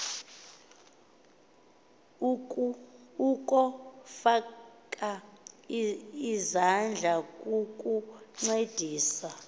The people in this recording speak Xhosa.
ukofaka izandla kukuncedisa